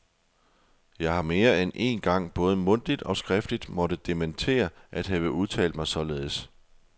Jeg har mere end én gang både mundtligt og skriftligt måtte dementere at have udtalt mig således.